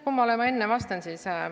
Kummale ma enne vastan siis?